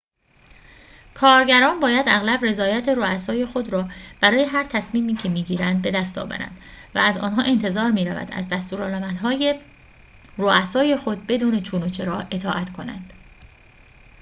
کارگران باید اغلب رضایت رؤسای خود را برای هر تصمیمی که می‌گیرند بدست آورند و از آنها انتظار می‌رود از دستورالعمل‌های رؤسای خود بدون چون و چرا اطاعت کنند